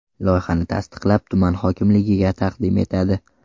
Loyihani tasdiqlab, tuman hokimligiga taqdim etadi.